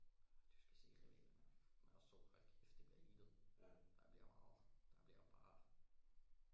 Ah du skal se rivalerne med os to hold kæft det bliver heated der bliver meget der bliver bare